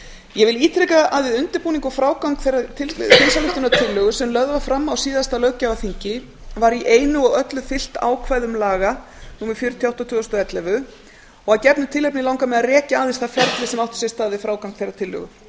ég ítreka að við undirbúning og frágang þeirrar þingsályktunartillögu sem lögð var fram á síðasta löggjafarþingi var í einu og öllu fylgt ákvæðum laga númer fjörutíu og átta tvö þúsund og ellefu og að gefnu tilefni langar mig að rekja aðeins það ferli sem átti sér stað við frágang þeirrar tillögu